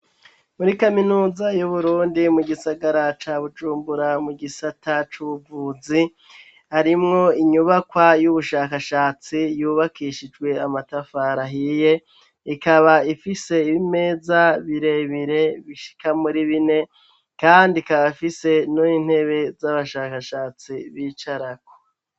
Muri kaminuza y'uburundi mu gisagara ca bujumbura mu gisata cuvuzi ,harimwo inyubakwa y'ubushakashatsi yubakishijwe amatafari ahiye, ikaba ifise ibimeza birebire bishika muri bine, kandi ikaba ifise n'intebe z'abashakashatsi bicarako.